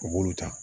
U b'olu ta